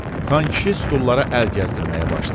Xankişi stullara əl gəzdirməyə başladı.